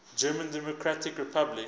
german democratic republic